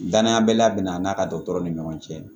Dananya bɛla bɛna an n'a ka dɔgɔtɔrɔ ni ɲɔgɔn cɛ